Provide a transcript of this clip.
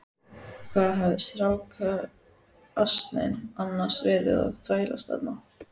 Hvað hafði strákasninn annars verið að þvælast þarna?